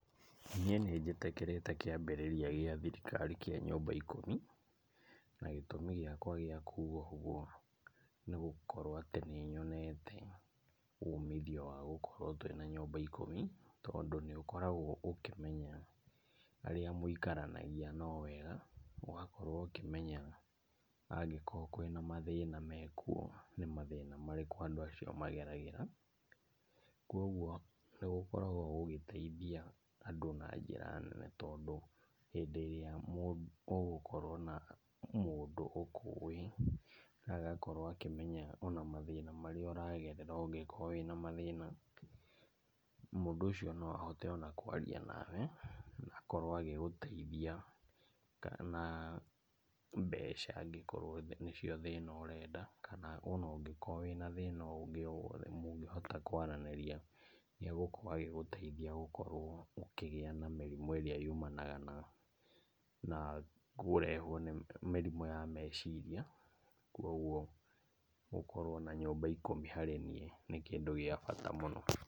Niĩ nĩnjĩtĩkĩrĩte kĩambĩrĩria gĩa thirikari kĩa nyũmba ikũmi. Na gĩtũmi gĩakwa gĩa kuga ũguo, nĩ gũkorwo atĩ nĩ nyonete umithio wa gũkorwo twĩ na nyũmba ikũmi. Tondũ nĩ ũkoragwo ũkĩmenya arĩa mũikaranagia nao wega, ũgakorwo ũkĩmenya angĩkorwo kwĩna mathĩna mekuo nĩ mathĩna marĩkũ andũ acio magereragĩra. Koguo nĩgũkoragwo gũgĩteithia andũ na njĩra nene, tondũ hĩndĩ ĩrĩa ũgũkorwo na mũndũ ũkũwĩ na agakorwo akĩmenya ona mathĩna marĩa ũragerera ũngĩkorwo wĩna mathĩna, mũndũ ũcio no ahote ona kwaria nawe na akorwo agĩgũteithia, kana mbeca angĩkorwo nĩ cio thĩna ũrenda, kana ũngĩkorwo wĩna thĩna ũngĩ o wothe mũngĩhota kwaranĩria, nĩ agũkorwo agĩgũteithia gũkorwo ũkĩgĩa na mĩrimũ ĩrĩa yumanaga na na kũrehwo nĩ, mĩrimũ ya meciria. Koguo gũkorwo na nyũmba ikũmi harĩ niĩ nĩ kĩndũ gĩa bata mũno.